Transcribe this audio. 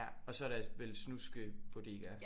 Ja og så er der vel snuskebodegaer